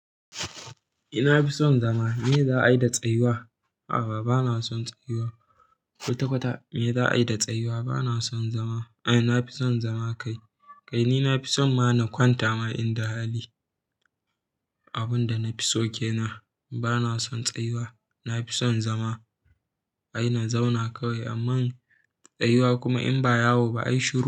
Eh na fi son zama, me za a yi da tsayuwa? A'a bana son tsayuwa. Kwata-kwata me za a yi da tsayuwa? Bana son zama. Ai na fi son zama kai. Kai ni na fi son ma na kwanta ma in da hali. Abun da na fi soke nan bana son tsayuwa, na fi son zama. Ai na zauna kawai amman tsayuwa kuma in ba yawo ba ai shuru.